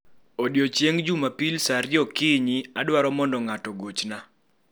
Odiechieng Jumapil sa ariyo okinyi, adwaro mondo ng'ato ogochna.